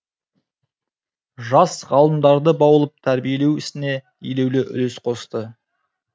жас ғалымдарды баулып тәрбиелеу ісіне елеулі үлес қосты